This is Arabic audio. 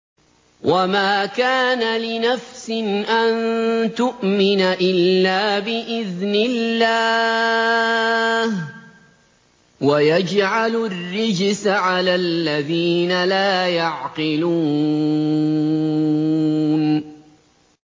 وَمَا كَانَ لِنَفْسٍ أَن تُؤْمِنَ إِلَّا بِإِذْنِ اللَّهِ ۚ وَيَجْعَلُ الرِّجْسَ عَلَى الَّذِينَ لَا يَعْقِلُونَ